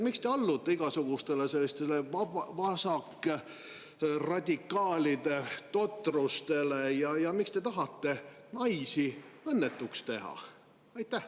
Miks te allute igasugustele sellistele vasakradikaalide totrustele ja miks te tahate naisi õnnetuks teha?